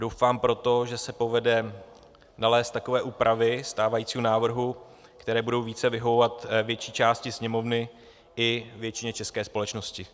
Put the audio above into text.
Doufám proto, že se povede nalézt takové úpravy stávajícího návrhu, které budou více vyhovovat větší části Sněmovny i většině české společnosti.